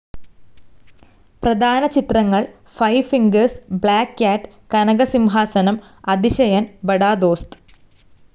പ്രധാന ചിത്രങ്ങൾ five fingers black cat Kanakasimhasanam Athisayan Bada ദോസ്ത്.